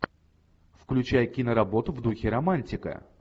включай киноработу в духе романтика